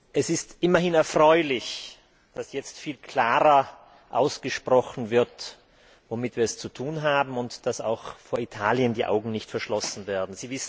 Es ist immerhin erfreulich, dass jetzt viel klarer ausgesprochen wird, womit wir es zu tun haben, und dass auch vor Italien die Augen nicht verschlossen werden.